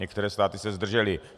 Některé státy se zdržely.